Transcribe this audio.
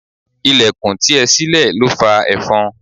Ìlẹ̀kùn tí ẹ sile ló fa efon.